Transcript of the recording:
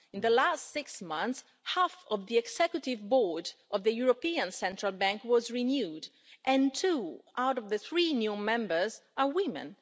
In the last six months, half of the Executive Board of the European Central Bank was renewed, and two out of the three new members are women.